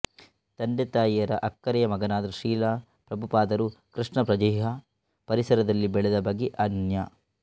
ತಂದೆತಾಯಿಯರ ಅಕ್ಕರೆಯ ಮಗನಾದ ಶ್ರೀಲ ಪ್ರಭುಪಾದರು ಕೃಷ್ಣಪ್ರಜ್ಹೆಯ ಪರಿಸರದಲ್ಲಿ ಬೆಳೆದ ಬಗೆ ಅನನ್ಯ